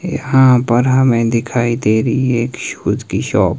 यहां पर हमें दिखाई दे रही है एक शूज की शॉप ।